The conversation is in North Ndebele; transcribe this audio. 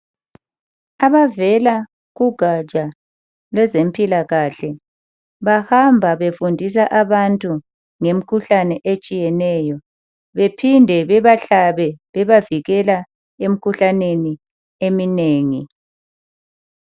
Abavela kugatsha lwezempilakahle bahamba befundisa abantu ngemikhuhlane etshiyeneyo. Bephinde bebahlabe bebavikela emkhuhlaneni eminengi.